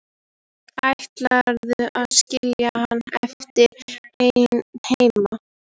Ætlarðu að skilja hann eftir einan heima?